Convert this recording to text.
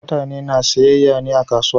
Mutane na siyayya ne a kasuwa.